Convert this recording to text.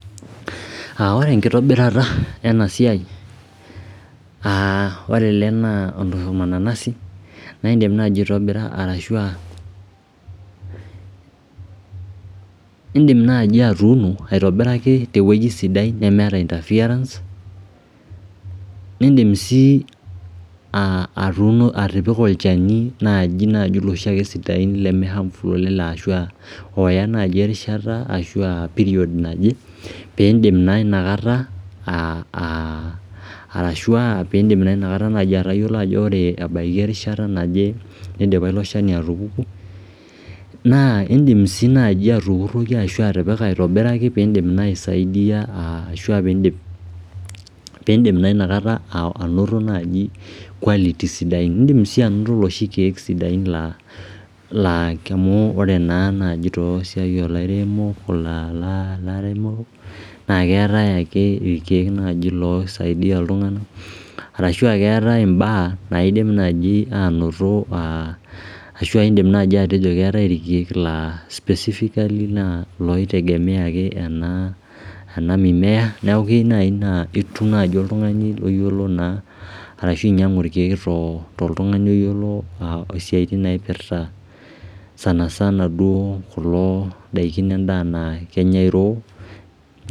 Ore enkitobirata ena siai, ore ele naa ormananasi niindim naaji aitobira arashu aa indiim naaji atuuno aitobiraki tewueji sidai nemeeta interference niindim sii atuuno, atipika olchani naaji iloshi sidain lemee harmful oleng ashu ooya naai erishata ashu period naje piindim naa inakata arashu aa piindim naa inakata atayiolo ajo ore ebaiki erishata naje nidipa ilo shani atupuku. Naa indim sii naaji atukurroki ashu atipika aitobiraki piindim naa aisaidia ashu aa piindim naa inakata anoto naaji quality sidai, niindim sii anoto iloshi kiek sidain laa koree naa naaji te siai olairemok naa keetae ake irkiek naaji looisaidia iltung'anak arashu aakeetae imbaak naidim naaji anoto ashu indim naaji atejo keetae irkiek laa specifically naa iloitegemea ake ena mimea neeku keyieu naai naa etum ake oltung'ani oyiolo naa ashu ainyang'u irkiek toltung'ani oyiolo isiaitin napirta sana sana duo kulo daiki, endaa naa kenyai raw